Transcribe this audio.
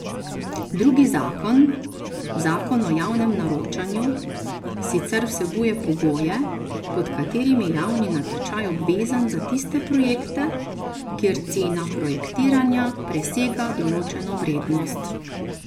Drugi zakon, zakon o javnem naročanju, sicer vsebuje pogoje, pod katerimi je javni natečaj obvezen za tiste projekte, kjer cena projektiranja presega določeno vrednost.